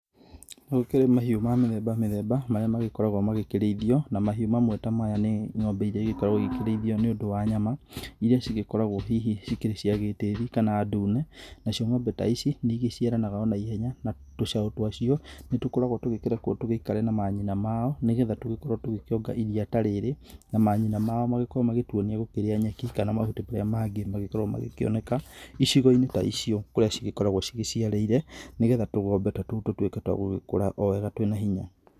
Gũkĩrĩ mahiũ ma mĩthemba mĩthemba marĩa magĩkoragwo makirĩithio na mahiũ mamwe ta maya nĩ ng'ombe iria igĩkoragwo ikĩrĩithio nĩ ũndũ wa nyama. Iria cigĩkoragwo hihi cikĩrĩ cia gĩtĩri kana ndune, nacio ng'ombe ta ici nĩ igĩciaranaga na ihenya na tũcaũ twacio nĩ tũkoragwo tũgĩkĩrekwo tũgĩikare na manyina mao nĩ getha tũgĩkorwo tũgĩkiona iria ta rirĩ. Na manyina mao magĩkorwo magituonia gũkĩrĩa nyeki kana mahuti marĩa mangĩ mangĩkorwo magĩkĩoneka, icigo-inĩ ta icio kũrĩa cingĩgĩkorwo ciciarĩire. Nĩ getha tũgombe tũtũ tũkorwo twa gũgĩkura o wega twĩna hinya.